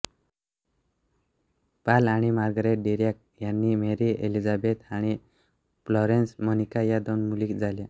Paul आणि Margaret Dirac यांना Mary Elizabeth आणि फ्लोरेन्स मोनिका या दोन मुली झाल्या